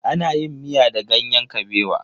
Ana yin miya da ganyen kabewa.